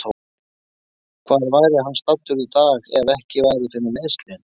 Hvar væri hann staddur í dag ef ekki væri fyrir meiðslin?